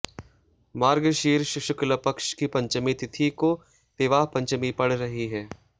मार्गशीर्ष शुक्ल पक्ष की पंचमी तिथि को विवाह पचंमी पड़ रही है